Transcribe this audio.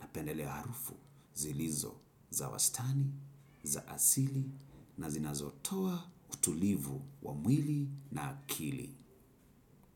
napendelea harufu zilizo za wastani, za asili na zinazotoa utulivu wa mwili na akili.